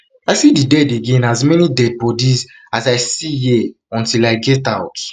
i see di dead again as many dead bodies as i see here until i get out